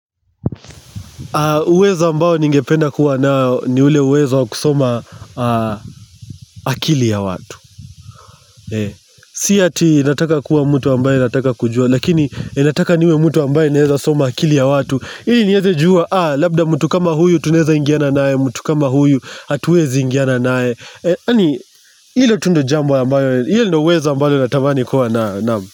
Uwezo ambao ningependa kuwa nao ni ule uwezo wa kusoma akili ya watu. Si hati nataka kuwa mtu ambaye nataka kujua. Lakini inataka niwe mtu ambaye naweza soma akili ya watu. Ili niweze juwa labda mtu kama huyu tuneza ingiana nae. Mtu kama huyu hatuwezi ingiana nae. Ani ilo tu ndo jambo ambayo ile ndo uwezo ambayo natamani kuwa nao.